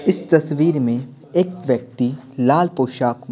इस तस्वीर में एक व्यक्ति लाल पोशाक म--